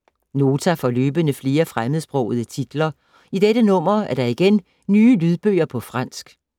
Nota får løbende flere fremmedsprogede titler. I dette nummer er der igen nye lydbøger på fransk.